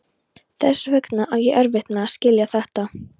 Þess vegna á ég erfitt með að skilja þetta.